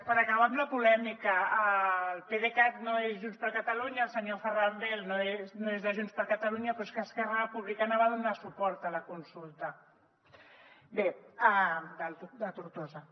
per acabar amb la polèmica el pdecat no és junts per catalunya el senyor ferran bel no és de junts per catalunya però és que esquerra republicana va donar suport a la consulta a tortosa